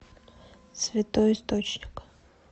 святой источник